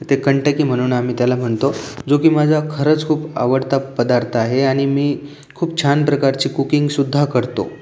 ते कांटकी म्हणून आम्ही त्याला म्हणतो जो की माझा खरच खुप आवडता पद्धार्थ आहे आणि मी खूप छान प्रकारची कूकिंग सुद्धा करतो.